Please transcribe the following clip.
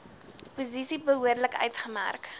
posisies behoorlik uitgemerk